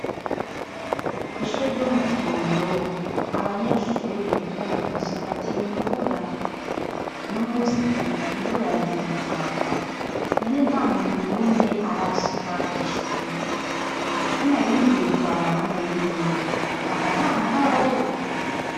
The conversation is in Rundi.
Kw'ishure ryo mu kirondo abanyeshure n'abigisha batinye imvura no musi imvura yazindutsa iragwa none nta muntu n'umwe arashika kw'ishure ko naringiye kubaraba none mpava ntaha ntababonye.